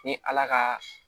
Ni ala ka